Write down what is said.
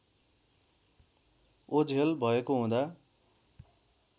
ओझेल भएको हुँदा